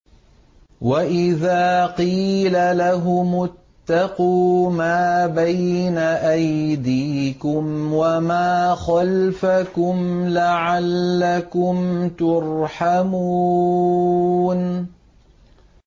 وَإِذَا قِيلَ لَهُمُ اتَّقُوا مَا بَيْنَ أَيْدِيكُمْ وَمَا خَلْفَكُمْ لَعَلَّكُمْ تُرْحَمُونَ